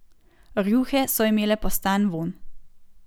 Rjuhe so imele postan vonj.